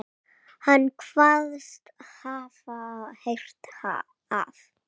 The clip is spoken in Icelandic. Hann kvaðst hafa heyrt að